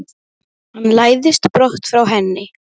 Sykrið og saltið.